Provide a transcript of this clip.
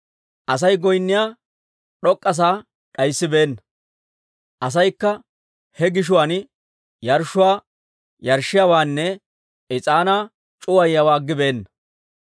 Asay goynniyaa d'ok'k'a sa'aa d'ayssibeenna; asaykka he gishuwaan yarshshuwaa yarshshiyaawaanne is'aanaa c'uwayiyaawaa aggibeenna.